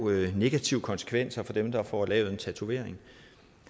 negative konsekvenser for dem der får lavet en tatovering